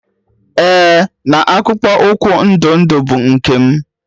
Ee na akpụkpọ ụkwụ ndụ ndụ bụ nke m.